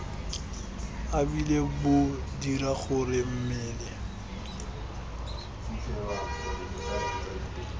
ebile bo dira gore mmele